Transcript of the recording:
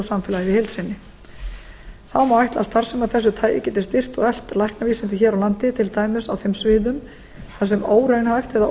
samfélagið í heild sinni þá má ætla að starfsemi af þessu tagi geti styrkt og eflt læknavísindin hér á landi til dæmis á þeim sviðum þar sem óraunhæft eða